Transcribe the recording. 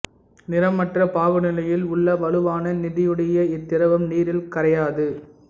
நிறமற்ற பாகுநிலையில் உள்ள வலுவான நெடியுடைய இத்திரவம் நீரில் கரையாது